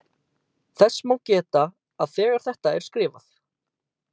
Þess má geta að þegar þetta er skrifað.